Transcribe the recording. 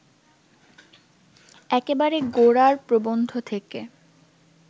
একেবারে গোড়ার প্রবন্ধ থেকে